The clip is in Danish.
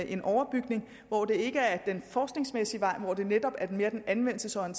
en overbygning hvor det ikke er den forskningsmæssige vej hvor det netop mere er den anvendelses og